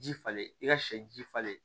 Ji falen i ka sɛ ji falen